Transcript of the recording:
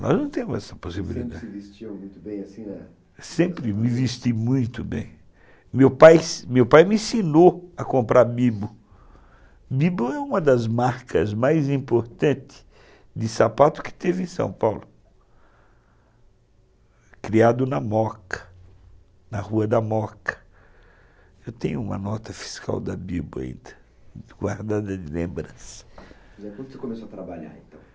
Nós não temos essa possibilidade. sempre se vestiu muito bem? Eu sempre me vesti muito bem. Meu pai meu pai sempre me ensinou a comprar Bibo. Bibo é uma das marcas mais importantes de sapato que teve em São Paulo criado na Moca, na rua da Moca. Eu tenho uma nota fiscal da Bibo ainda, guardada de lembrança. Quando você começou a trabalhar então?